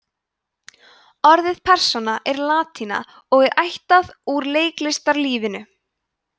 orðið persóna er latína og er ættað úr leiklistarlífinu